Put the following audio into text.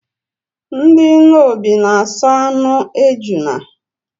Ndị Nnobi na aso anụ ejuna